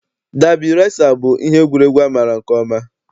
Dabi resa bụ ihe egwuregwu a maara nke ọma.